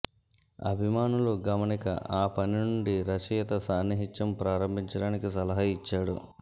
అభిమానులు గమనిక ఆ పని నుండి రచయిత సాన్నిహిత్యం ప్రారంభించడానికి సలహా ఇచ్చాడు